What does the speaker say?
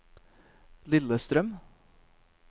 Lillestrøm